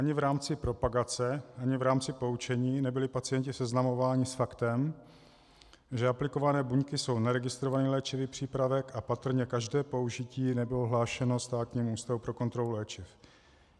Ani v rámci propagace ani v rámci poučení nebyli pacienti seznamováni s faktem, že aplikované buňky jsou neregistrovaný léčivý přípravek, a patrně každé použití nebylo hlášeno Státnímu ústavu pro kontrolu léčiv.